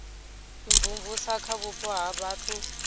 imvumvusa kha vhupo ha vhathu